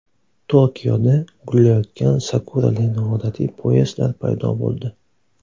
Tokioda gullayotgan sakurali noodatiy poyezdlar paydo bo‘ldi.